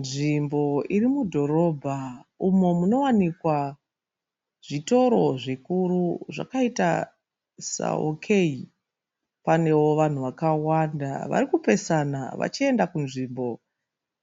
Nzvimbo irimudhorobha umo munowanikwa zvitoro zvikuru zvakaita saOK. Panewo vanhu vakawanda varikupesana vachienda kunzvimbo